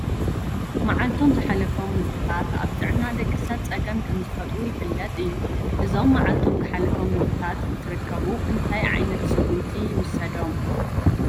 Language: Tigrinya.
መዓልቶም ዝሓለፎም ምግብታት ኣብ ጥዕና ደቂ ሰብ ፀገም ከምዝፈጥሩ ይፍለጥ እዩ፡፡ እዞም መዓልቶም ዝሓለፎም ምግብታት እንትርከቡ እንታይ ዓይነት ስጉምቲ ይውሰዶም?